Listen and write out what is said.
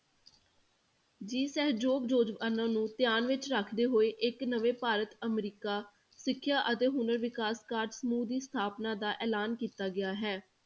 ਜੀ ਸਹਿਯੋਗ ਯੋਜਨਾ ਨੂੰ ਧਿਆਨ ਵਿੱਚ ਰੱਖਦੇ ਹੋਏ ਇੱਕ ਨਵੇਂ ਭਾਰਤ ਅਮਰੀਕਾ ਸਿੱਖਿਆ ਅਤੇ ਹੁਨਰ ਵਿਕਾਸ ਕਾਰਜ ਸਮੂਹ ਦੀ ਸਥਾਪਨਾ ਦਾ ਐਲਾਨ ਕੀਤਾ ਗਿਆ ਹੈ।